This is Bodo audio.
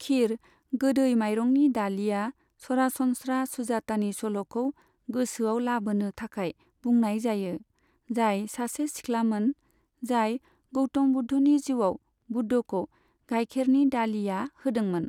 खिर, गोदै माइरंनि दालिया सरासनस्रा सुजातानि सल'खौ गोसोआव लाबोनो थाखाय बुंनाय जायो, जाय सासे सिख्लामोन, जाय गौतम बुद्धनि जिउआव बुद्धखौ गाइखेरनि दालिया होदोंमोन।